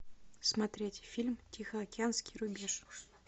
смотреть фильм тихоокеанский рубеж